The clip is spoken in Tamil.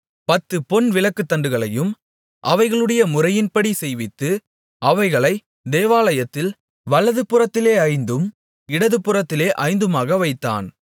பத்துப் பொன் விளக்குத்தண்டுகளையும் அவைகளுடைய முறையின்படி செய்வித்து அவைகளை தேவாலயத்தில் வலதுபுறத்திலே ஐந்தும் இடதுபுறத்திலே ஐந்துமாக வைத்தான்